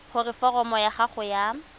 gore foromo ya gago ya